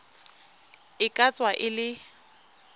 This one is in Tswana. e ka tswa e le